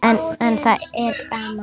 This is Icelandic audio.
En það er gaman.